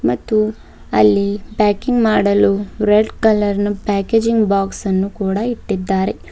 ಮತ್ತು ಅಲ್ಲಿ ಪ್ಯಾಕಿಂಗ್ ಮಾಡಲು ರೆಡ್ ಕಲರ್ ಪ್ಯಾಕೇಜಿಂಗ್ ಬಾಕ್ಸ್ ಅನ್ನು ಕೂಡ ಇಟ್ಟಿದ್ದಾರೆ.